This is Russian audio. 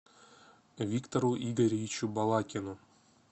виктору игоревичу балакину